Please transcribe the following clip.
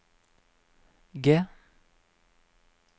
G